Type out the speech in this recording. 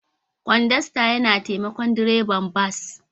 Kodasta yana taimakon direban bas.